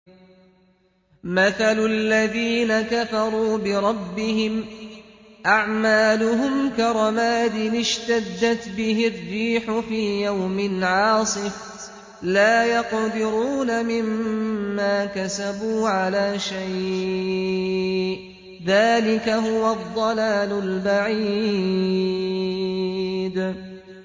مَّثَلُ الَّذِينَ كَفَرُوا بِرَبِّهِمْ ۖ أَعْمَالُهُمْ كَرَمَادٍ اشْتَدَّتْ بِهِ الرِّيحُ فِي يَوْمٍ عَاصِفٍ ۖ لَّا يَقْدِرُونَ مِمَّا كَسَبُوا عَلَىٰ شَيْءٍ ۚ ذَٰلِكَ هُوَ الضَّلَالُ الْبَعِيدُ